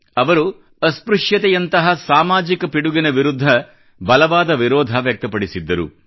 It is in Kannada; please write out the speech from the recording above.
ಅವರು ಅಸ್ಪೃಶ್ಯತೆಯಂತಹ ಸಾಮಾಜಿಕ ಪಿಡುಗಿನ ವಿರುದ್ಧ ಬಲವಾದ ವಿರೋಧ ವ್ಯಕ್ತಪಡಿಸಿದ್ದರು